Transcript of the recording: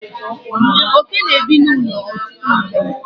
oke na-ebi n'ụlọ ọtụtụ mgbe